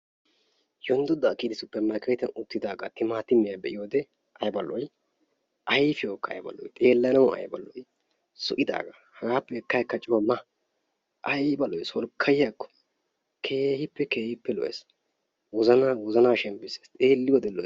Yonddodaa kiyidi suppermarkketiyaan uttidagaa timmaatimiya be'iyoode ayba lo'ii ayfiyawkka ayba lo'ii xeellanaw ayba lo'ii zo'idaagaa hegaappe ekka akka coo ma ayba lo'ii solkkayiyaakko keehippe keehippe lo'ees; wozanaa wozanaa shenppisees xeeliyoode lo'ees.